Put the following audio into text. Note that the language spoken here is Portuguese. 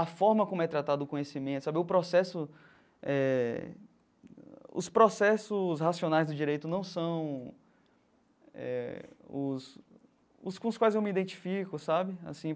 A forma como é tratado o conhecimento sabe, o processo eh os processos racionais do direito não são eh os os com os quais eu me identifico sabe assim.